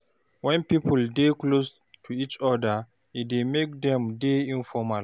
When pipo dey close to each oda e dey make dem dey informal